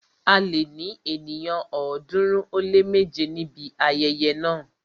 A lè ní ènìyàn ọ̀ọ́dúnrún ó lé méje níbi ayẹyẹ náà.